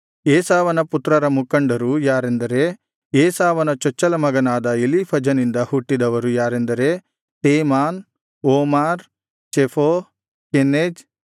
ಏಸಾವನ ಪುತ್ರರ ಮುಖಂಡರು ಯಾರೆಂದರೆ ಏಸಾವನ ಚೊಚ್ಚಲ ಮಗನಾದ ಎಲೀಫಜನಿಂದ ಹುಟ್ಟಿದವರು ಯಾರೆಂದರೆ ತೇಮಾನ್ ಓಮಾರ್ ಚೆಫೋ ಕೆನೆಜ್